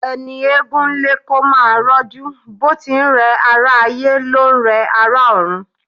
Ẹni egún ń lé kó máa rọ́jú bó ti ńrẹ̀ ará ayé, ló ń rẹ ará ọ̀run.